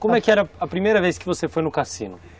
Como é que era a primeira vez que você foi no cassino?